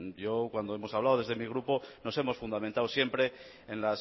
yo cuando hemos hablado desde mi grupo nos hemos fundamentado siempre en